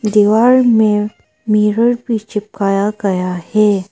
दीवार में मिरर भी चिपकाया गया है।